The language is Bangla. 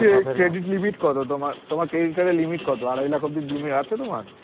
এর credit limit কত তোমার, তোমার credit card এ limit কত আড়াই লাখ অবধি limit আছে তোমার?